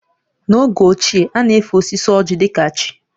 N’oge ochie, a na-efe osisi ọ́jị̀ dị ka chi